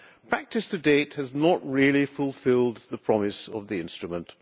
practice to date has not really fulfilled the promise of the instrument.